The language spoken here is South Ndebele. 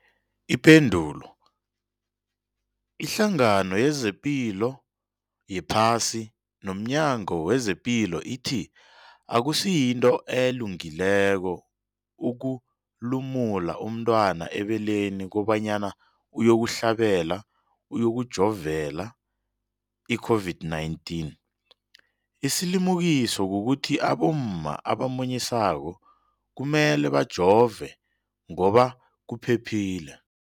Ipendulo, iHlangano yezePilo yePhasi nomNyango wezePilo ithi akusinto elungileko ukulumula umntwana ebeleni kobanyana uyokuhlabela, uyokujovela i-COVID-19. Isilimukiso kukuthi abomma abamunyisako kumele bajove ngoba kuphephile.